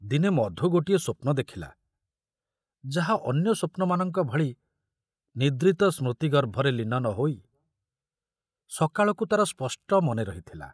ଦିନେ ମଧୁ ଗୋଟିଏ ସ୍ୱପ୍ନ ଦେଖିଲା ଯାହା ଅନ୍ୟ ସ୍ୱପ୍ନମାନଙ୍କ ଭଳି ନିଦ୍ରିତ ସ୍ମୃତିଗର୍ଭରେ ଲୀନ ନ ହୋଇ ସକାଳକୁ ତାର ସ୍ପଷ୍ଟ ମନେ ରହିଥିଲା।